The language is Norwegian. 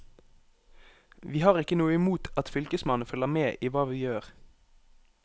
Vi har ikke noe imot at fylkesmannen følger med i hva vi gjør.